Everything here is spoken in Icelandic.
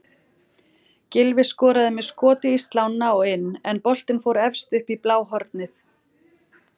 Gylfi skoraði með skoti í slána og inn en boltinn fór efst upp í bláhornið.